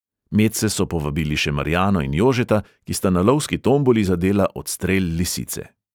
Medse so povabili še marjano in jožeta, ki sta na lovski tomboli zadela odstrel lisice.